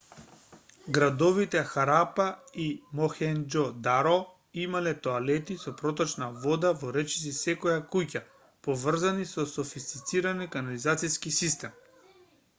градовите харапа и мохенџо-даро имале тоалети со проточна вода во речиси секоја куќа поврзани со софистициран канализациски систем